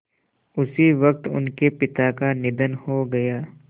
उसी वक़्त उनके पिता का निधन हो गया